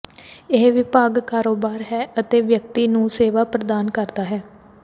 ਇਹ ਵਿਭਾਗ ਕਾਰੋਬਾਰ ਹੈ ਅਤੇ ਵਿਅਕਤੀ ਨੂੰ ਸੇਵਾ ਪ੍ਰਦਾਨ ਕਰਦਾ ਹੈ